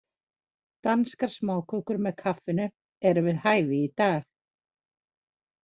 Danskar smákökur með kaffinu eru við hæfi í dag.